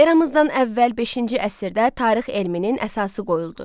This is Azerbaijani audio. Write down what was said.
Eramızdan əvvəl beşinci əsrdə tarix elminin əsası qoyuldu.